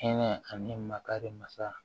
Hinɛ ani makari masa